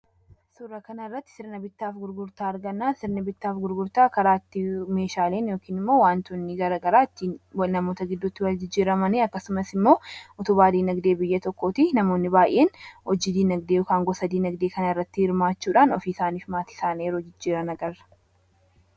surra kanaarratti sirni bittaaf gurgurtaa argannaan sirni bittaaf gurgurtaa karaatti meeshaaleen yookiin immoo waantoonni gara garaatti namoota giddutti wal jijjiiramanii akkasumas immoo utu baadii nagdee biyya tokkoot namoonni baay'een hojjidii nagdee ykaan gosadii nagdee kanaarratti hirmaachuudhaan ofiiisaaniif maatisaan yeroo jijjiiranagarra